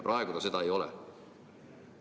Praegu ta seda ei ole.